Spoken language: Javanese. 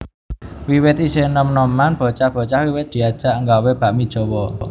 Wiwit isih nom noman bocah bocah wiwit diajak nggawé bakmi Jawa